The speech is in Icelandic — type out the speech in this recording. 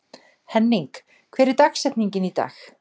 Henning, hver er dagsetningin í dag?